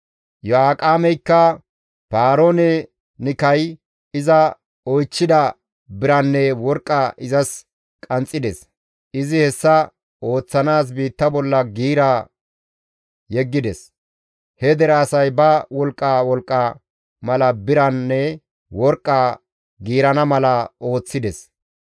Iyo7aaqemeykka Paaroon-Nikay iza oychchida biranne worqqa izas qanxxides; izi hessa ooththanaas biitta bolla giira yeggides; he dere asay ba wolqqa wolqqa mala biranne worqqa giirana mala ooththides.